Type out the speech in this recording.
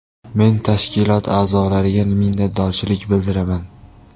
Men tashkilot a’zolariga minnatdorchilik bildiraman.